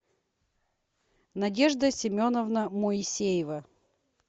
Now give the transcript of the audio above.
надежда семеновна моисеева